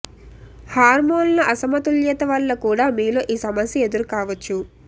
హార్మోనుల అసమతుల్యత వల్ల కూడా మీలో ఈ సమస్య ఎదురు కావచ్చు